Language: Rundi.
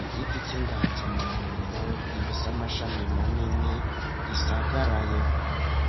igiti c'inganza amarumbo gifise amashami manini gisagaraye.